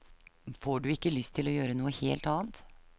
Får du ikke lyst til å gjøre noe helt annet?